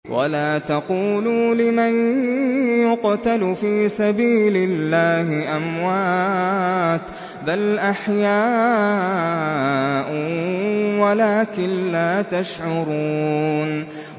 وَلَا تَقُولُوا لِمَن يُقْتَلُ فِي سَبِيلِ اللَّهِ أَمْوَاتٌ ۚ بَلْ أَحْيَاءٌ وَلَٰكِن لَّا تَشْعُرُونَ